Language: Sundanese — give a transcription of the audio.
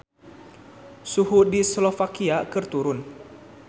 Suhu di Slovakia keur turun